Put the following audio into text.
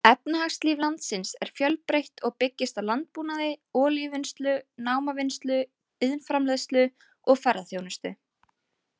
Efnahagslíf landsins er fjölbreytt og byggist á landbúnaði, olíuvinnslu, námavinnslu, iðnframleiðslu og ferðaþjónustu.